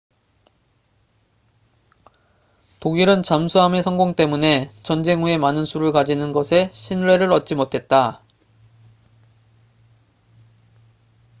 독일은 잠수함의 성공 때문에 전쟁 후에 많은 수를 가지는 것에 신뢰를 얻지 못했다